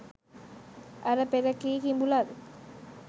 අර පෙර කී කිඹුලන්